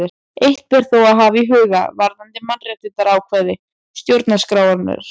Eitt ber þó að hafa í huga varðandi mannréttindaákvæði stjórnarskrárinnar.